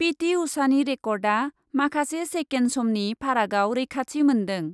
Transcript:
पिटि उषानि रेकर्डआ माखासे सेकेन्ड समनि फारागआव रैखाथि मोन्दों।